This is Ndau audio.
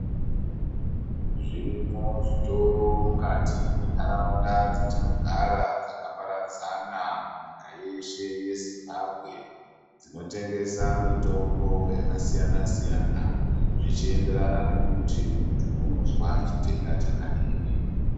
Zvirimwo zvitoro mukati me ndaraunda dza tinogara dzaka paradzana mu nyika yeshe ye Zimbabwe dzino tengesa mitombo yaka siyana siyana zvichi enderana nekuti muntu unozwa chitenda chakadini.